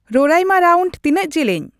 ᱨᱳᱨᱟᱭᱢᱟ round ᱛᱤᱱᱟᱹᱜ ᱡᱮᱞᱮᱧ